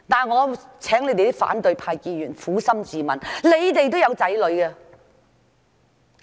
我請反對派議員撫心自問，你們也有子女。